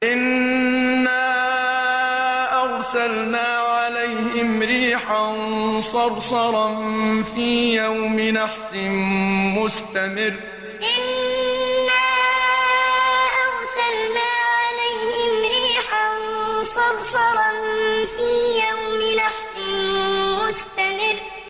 إِنَّا أَرْسَلْنَا عَلَيْهِمْ رِيحًا صَرْصَرًا فِي يَوْمِ نَحْسٍ مُّسْتَمِرٍّ إِنَّا أَرْسَلْنَا عَلَيْهِمْ رِيحًا صَرْصَرًا فِي يَوْمِ نَحْسٍ مُّسْتَمِرٍّ